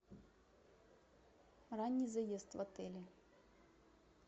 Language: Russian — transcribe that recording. ранний заезд в отеле